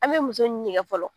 An bɛ muso fɔlɔ